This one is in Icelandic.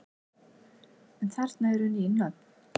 En þarna eru ný nöfn.